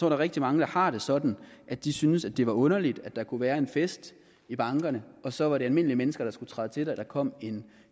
er rigtig mange der har det sådan at de synes at det var underligt at der kunne være en fest i bankerne og så var det almindelige mennesker der skulle træde til da der kom en